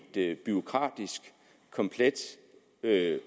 et bureaukratisk komplet